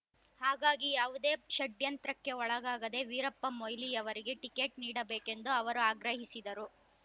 ಹಾಗಾಗಿ ಯಾವುದೇ ಷಡ್ಯಂತ್ರಕ್ಕೆ ಒಳಗಾಗದೆ ವೀರಪ್ಪ ಮೊಯ್ಲಿಯವರಿಗೆ ಟಿಕೆಟ್ ನೀಡಬೇಕೆಂದು ಅವರು ಆಗ್ರಹಿಸಿದರು